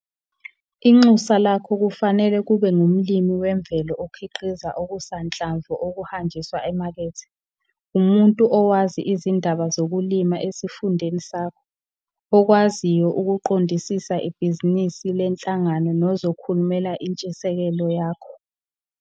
Inxusa lakho kufanele kube ngumlimi wemvelo okhiqiza okusanhlamvu okuhanjiswa emakethe, umuntu owazi izindaba zokulima esifundeni sakho, okwaziyo ukuqondisisa ibhizinisi lenhlangano nozokhulumela itshisekelo yakho.